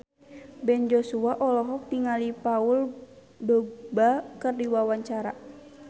Ben Joshua olohok ningali Paul Dogba keur diwawancara